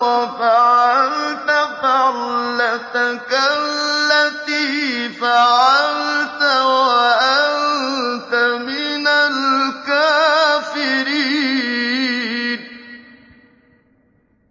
وَفَعَلْتَ فَعْلَتَكَ الَّتِي فَعَلْتَ وَأَنتَ مِنَ الْكَافِرِينَ